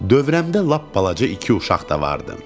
Dövranımda lap balaca iki uşaq da vardı.